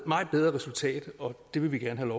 meget bedre resultat og det vil vi gerne